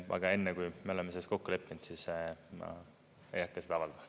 Aga enne, kui me oleme selles kokku leppinud, ma ei hakka seda avaldama.